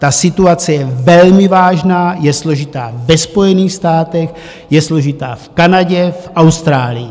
Ta situace je velmi vážná, je složitá ve Spojených státech, je složitá v Kanadě, v Austrálii.